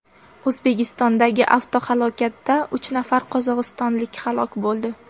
O‘zbekistondagi avtohalokatda uch nafar qozog‘istonlik halok bo‘ldi.